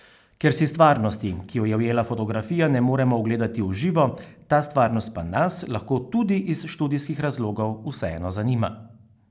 Ker si stvarnosti, ki jo je ujela fotografija, ne moremo ogledati v živo, ta stvarnost pa nas, lahko tudi iz študijskih razlogov, vseeno zanima.